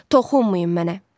Toxunmayın mənə.